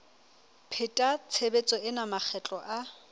pheta tshebetso ena makgetlo a